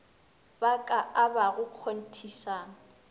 ba ka a abago kgonthišang